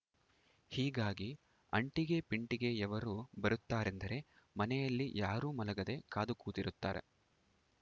ಹೀಗಾಗಿ ಅಂಟಿಗೆ ಪಿಂಟಿಗೆಯವರು ಬರುತ್ತಾರೆಂದರೆ ಮನೆಯಲ್ಲಿ ಯಾರೂ ಮಲಗದೆ ಕಾದು ಕೂತಿರುತ್ತಾರೆ